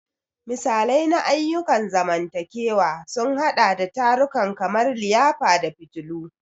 Misalai na ayyukan zamantakewa sun haɗa da tarukan kamar liyafa da fitillu.